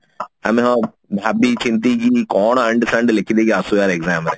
ଆମେ କଣ ଭାବି ଚିନ୍ତିକିରି କଣ ଅଣ୍ଡ୍ ସଣ୍ଡ୍ ଲେଖିଦେଇକି ଆସୁ ୟାର exam ରେ